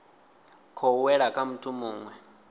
khou wela kha muthu muwe